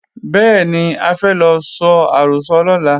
Bẹ́ẹ̀ni, a fẹ́ lọ so àrọ́sọ lọ́la